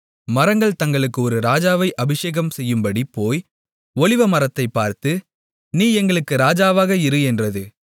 மரங்கள் தங்களுக்கு ஒரு ராஜாவை அபிஷேகம்செய்யும்படி போய் ஒலிவமரத்தைப் பார்த்து நீ எங்களுக்கு ராஜாவாக இரு என்றது